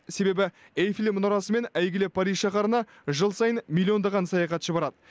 себебі эйфель мұнарасымен әйгілі париж шаһарына жыл сайын миллиондаған саяхатшы барады